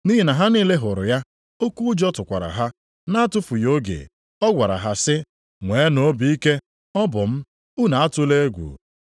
Nʼihi na ha niile hụrụ ya, oke ụjọ tụkwara ha. Na-atụfughị oge, ọ gwara ha sị, “Nweenụ obi ike! Ọ bụ m. Unu atụla egwu.”